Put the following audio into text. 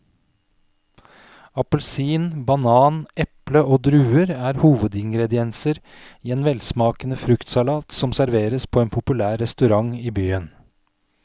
Appelsin, banan, eple og druer er hovedingredienser i en velsmakende fruktsalat som serveres på en populær restaurant i byen.